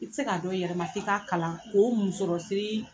I te se k'a dɔn i yɛrɛ ma f'i k'a kalan o musɔrɔsiri